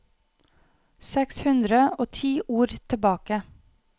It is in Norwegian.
Seks hundre og ti ord tilbake